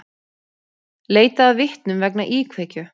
Leitað að vitnum vegna íkveikju